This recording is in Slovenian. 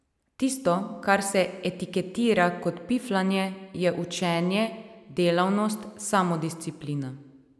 Tisto, kar se etiketira kot piflanje, je učenje, delavnost, samodisciplina.